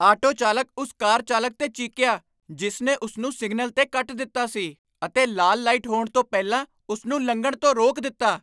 Auto ਚਾਲਕ ਉਸ car ਚਾਲਕ 'ਤੇ ਚੀਕਿਆ ਜਿਸ ਨੇ ਉਸ ਨੂੰ ਸਿਗਨਲ 'ਤੇ ਕੱਟ ਦਿੱਤਾ ਸੀ ਅਤੇ ਲਾਲ ਲਾਈਟ ਹੋਣ ਤੋਂ ਪਹਿਲਾਂ ਉਸ ਨੂੰ ਲੰਘਣ ਤੋਂ ਰੋਕ ਦਿੱਤਾ।